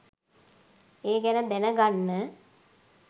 ඒ ගැන දැනගන්න.